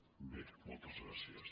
bé moltes gràcies